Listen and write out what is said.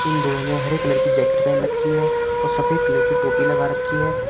दोनों ने हरे कलर की जैकेट पहन रखी है और सफेद कलर की टोपी लगा रखी है।